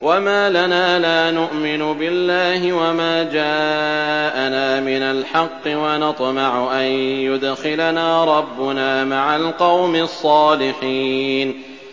وَمَا لَنَا لَا نُؤْمِنُ بِاللَّهِ وَمَا جَاءَنَا مِنَ الْحَقِّ وَنَطْمَعُ أَن يُدْخِلَنَا رَبُّنَا مَعَ الْقَوْمِ الصَّالِحِينَ